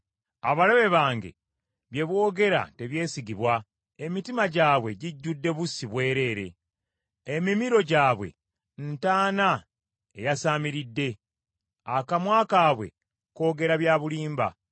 Abalabe bange bye boogera tebyesigibwa; emitima gyabwe gijjudde bussi bwereere. Emimiro gyabwe ntaana eyasaamiridde: akamwa kaabwe koogera bya bulimba.